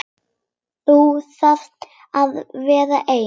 Þau þurfi að vera ein.